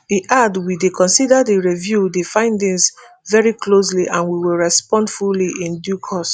e add we dey consider di review di findings veri closely and we will respond fully in due course